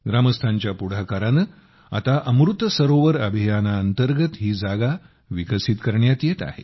ग्रामस्थांच्या पुढाकाराने आता अमृत सरोवर अभियानांतर्गत ही जागा विकसित करण्यात येते आहे